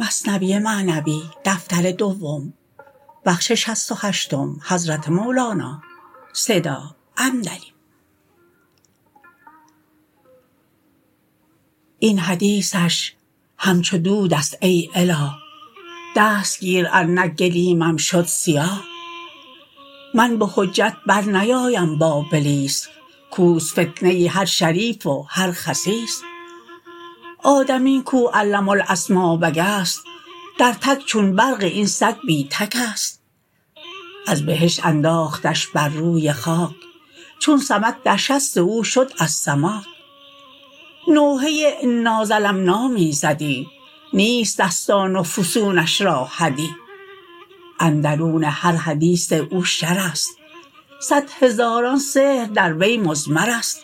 این حدیثش همچو دودست ای اله دست گیر ار نه گلیمم شد سیاه من به حجت بر نیایم با بلیس کوست فتنه هر شریف و هر خسیس آدمی کو علم الاسما بگست در تک چون برق این سگ بی تکست از بهشت انداختش بر روی خاک چون سمک در شست او شد از سماک نوحه انا ظلمنا می زدی نیست دستان و فسونش را حدی اندرون هر حدیث او شرست صد هزاران سحر در وی مضمرست